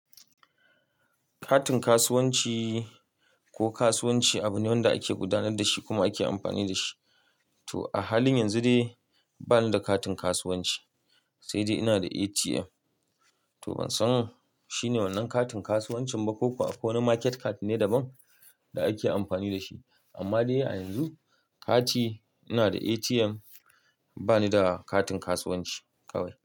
Katin kasuwanci ko kasuwanci abu ne wanda ake gudanar da shi kuma ake amfani da shi. To a halin yanzu dai bani da katin kasuwanci sai dai ina da ATM. To ban san shi ne wannan katin kasuwancin ba ko kuwa ko wane market card ne daban da ake amfani da shi. Amma dai a yanzu kati ina da ATM bani da katin kasuwanci kawai.